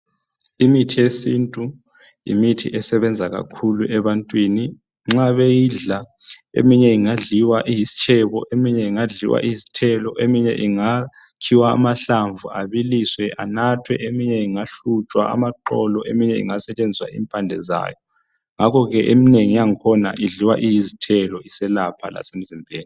Imithi yesintu yimithi esebenza kakhulu ebantwini nxa beyidla , eminye ingadliwa iyisitshebo eminye ingadliwa iyizithelo , eminye ingakhiwa amahlamvu abiliswe anathwe eminye ingahlutshwa amaxolo eminye ingasetshenziwa impande zawo ngakho ke eminengi yangkhona idliwa iyizithelo iselapha lasemzimbeni